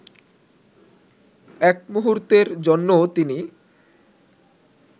এক মূহুর্তের জন্যও তিনি